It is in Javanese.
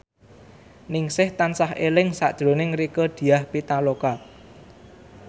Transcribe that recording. Ningsih tansah eling sakjroning Rieke Diah Pitaloka